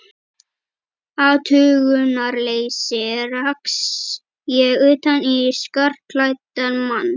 athugunarleysi rakst ég utan í skartklæddan mann.